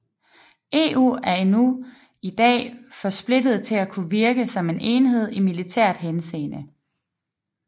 EU er endnu i dag for splittet til at kunne virke som en enhed i militært henseende